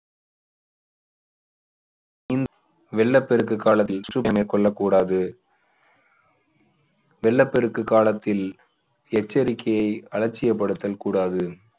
நீ~ வெள்ளப்பெருக்கு காலத்தில் கூடாது. வெள்ளப்பெருக்கு காலத்தில் எச்சரிக்கையை அலட்சியப்படுத்தல் கூடாது.